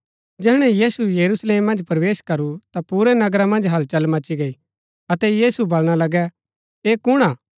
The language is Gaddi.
जैहणै यीशु यरूशलेम मन्ज प्रवेश करू ता पुरै नगरा मन्ज हलचल मची गई अतै मणु बलणा लगै ऐह कुण हा